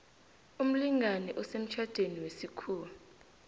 umlingani osemtjhadweni wesikhuwa